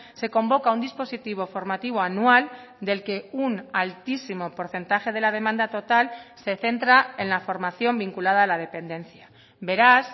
se convoca un dispositivo formativo anual del que un altísimo porcentaje de la demanda total se centra en la formación vinculada a la dependencia beraz